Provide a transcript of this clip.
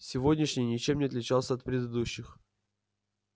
сегодняшний ничем не отличался от предыдущих